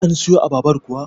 an siyo abarbar kuwa?